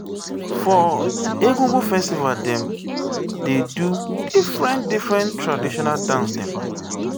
for egungun festival dem dey do differen differen traditional dance dem.